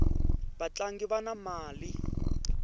vatlangi vana mali